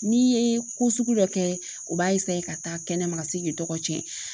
N'i ye ko sugu dɔ kɛ o b'a ka taa kɛnɛma ka se k'i dɔgɔ cɛ